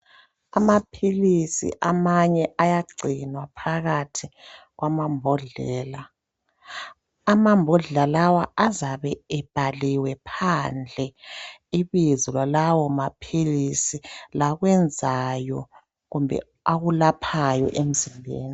Amaphilisi amanye ayagcinwa phakathi kwamambodlela . Amambodlela lawa azabe ebhaliwe phandle ibizo lalawo maphilisi lakwenzayo kumbe akulaphayo emzimbeni.